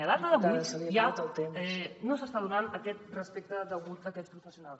a data d’avui ja no s’està donant aquest respecte degut a aquests professionals